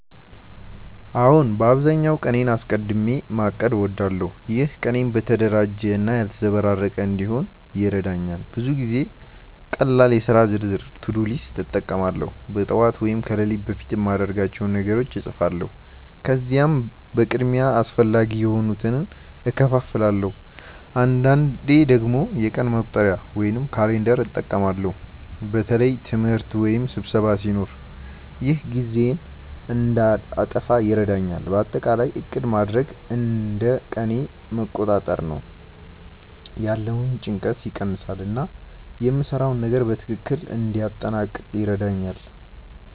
አዎን፣ በአብዛኛው ቀኔን አስቀድሚ ማቀድ እወዳለሁ። ይህ ቀኔን የተደራጀ እና ያልተዘበራረቀ እንዲሆን ይረዳኛል። ብዙ ጊዜ ቀላል የሥራ ዝርዝር (to-do list) እጠቀማለሁ። በጠዋት ወይም ከሌሊት በፊት የማድርጋቸውን ነገሮች እጻፋለሁ፣ ከዚያም በቅድሚያ አስፈላጊ የሆኑትን እከፋፍላለሁ። አንዳንዴ ደግሞ የቀን መቁጠሪያ (calendar) እጠቀማለሁ በተለይ ትምህርት ወይም ስብሰባ ሲኖር። ይህ ጊዜዬን እንዳልጠፋ ይረዳኛል። በአጠቃላይ ዕቅድ ማድረግ እንደ ቀኔን መቆጣጠር ነው፤ ያለውን ጭንቀት ይቀንሳል እና የምሰራውን ነገር በትክክል እንዲያጠናቅቅ ይረዳኛል።